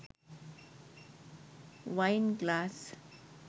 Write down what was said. වයින් glass